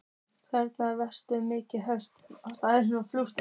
Þang vex milli fjörumarka aðfalls og útfalls.